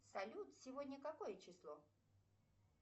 салют сегодня какое число